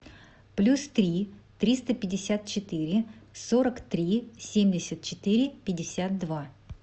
плюс три триста пятьдесят четыре сорок три семьдесят четыре пятьдесят два